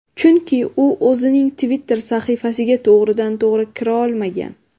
Chunki u o‘zining Twitter sahifasiga to‘g‘ridan-to‘g‘ri kira olmagan.